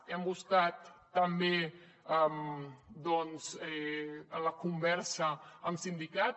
hem buscat també doncs la conversa amb sindicats